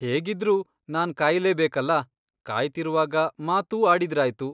ಹೇಗಿದ್ರೂ ನಾನ್ ಕಾಯ್ಲೇಬೇಕಲ್ಲ, ಕಾಯ್ತಿರುವಾಗ ಮಾತೂ ಆಡಿದ್ರಾಯ್ತು.